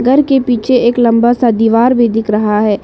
घर के पीछे एक लंबा सा दीवार भी दिख रहा है।